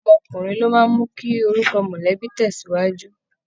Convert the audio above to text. Ọmọkùnrin ló máa ń mú kí orúkọ mọ̀lẹ́bí tẹ̀síwájú